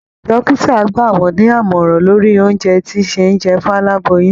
Dókítà gbà wọn ní àmọ̀ràn lórí oúnjẹ tí ṣe jẹ fún aláboyún